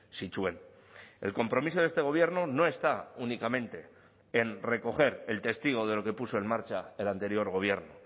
zituen el compromiso de este gobierno no está únicamente en recoger el testigo de lo que puso en marcha el anterior gobierno